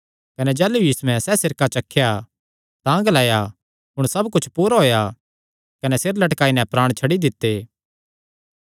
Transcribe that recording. कने जाह़लू यीशुयैं सैह़ सिरका चखेया तां ग्लाया हुण सब कुच्छ पूरा होएया कने सिरे लटकाई नैं प्राण छड्डी दित्ते